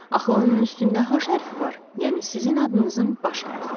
Axı onun üstündə H hərfi var, yəni sizin adınızın baş hərfi.